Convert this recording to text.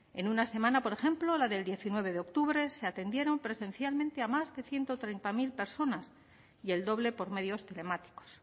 en una semana por ejemplo la de diecinueve de octubre se atendieron presencialmente a más de ciento treinta mil personas y el doble por medios telemáticos